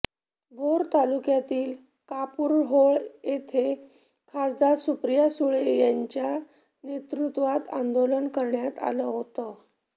भोर तालुक्यातील कापूरहोळ इथे खासदार सुप्रिया सुळे यांच्या नेतृत्वात आंदोलन करण्यात आलं होतं